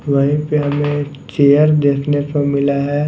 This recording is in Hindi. वहीं पे हमें चेयर देखने को मिला है।